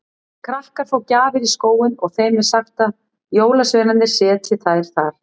Krakkar fá gjafir í skóinn og þeim er sagt að jólasveinarnir setji þær þar.